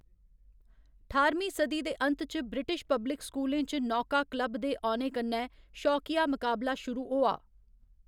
ठाह्‌रमीं सदी दे अंत च ब्रिटिश पब्लिक स्कूलें च नौका क्लब दे औने कन्नै शौकिया मकाबला शुरू होआ।